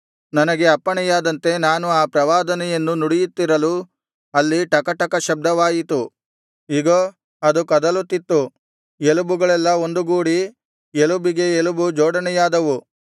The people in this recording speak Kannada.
ನನಗೆ ಅಪ್ಪಣೆಯಾದಂತೆ ನಾನು ಆ ಪ್ರವಾದನೆಯನ್ನು ನುಡಿಯುತ್ತಿರಲು ಅಲ್ಲಿ ಟಕಟಕ ಶಬ್ದವಾಯಿತು ಇಗೋ ಅದು ಕದಲುತ್ತಿತ್ತು ಎಲುಬುಗಳೆಲ್ಲಾ ಒಂದುಗೂಡಿ ಎಲುಬಿಗೆ ಎಲುಬು ಜೋಡಣೆಯಾದವು